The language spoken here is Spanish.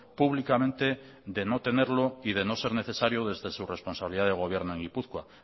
públicamente de no tenerlo y de no ser necesario desde su responsabilidad de gobierno en gipuzkoa